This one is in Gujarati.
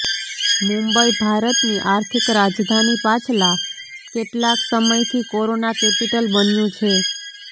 મુંબઈઃ ભારતની આર્થિક રાજધાની પાછલા કેટલાક સમયથી કોરોના કેપિટલ બન્યું છે